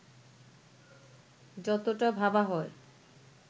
যতটা ভাবা হয়